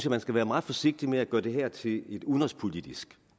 man skal være meget forsigtig med at gøre det her til et udenrigspolitisk